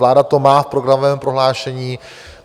Vláda to má v programovém prohlášení.